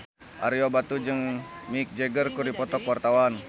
Ario Batu jeung Mick Jagger keur dipoto ku wartawan